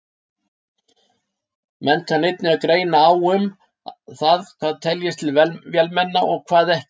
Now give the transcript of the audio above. Menn kann einnig að greina á um það hvað teljist til vélmenna og hvað ekki.